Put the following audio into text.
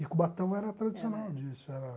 E Cubatão era tradicional disso era